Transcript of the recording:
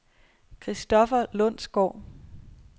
Christopher Lundsgaard